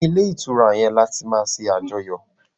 ní ilé ìtura yén là tí ma ṣe Àjọyọ̀